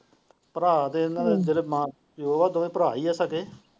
ਭਰਾ ਦੇਣ ਜਿਹੜੇ ਦੋਹਾ ਭਰਾ ਹੀ ਹੈ ਸਕੇ।